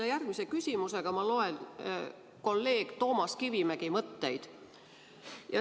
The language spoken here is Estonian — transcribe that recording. Oma järgmise küsimusega loen ma kolleeg Toomas Kivimäe mõtteid.